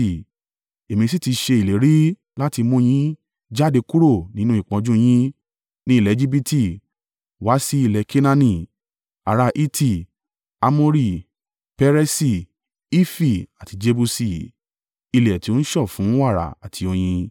Èmi sì ti ṣe ìlérí láti mú un yín jáde kúrò nínú ìpọ́njú yín ni ilẹ̀ Ejibiti wá sí ilẹ̀ Kenaani, ará Hiti, Amori, Peresi, Hifi àti Jebusi; ilẹ̀ tí ó ń sàn fún wàrà àti oyin.’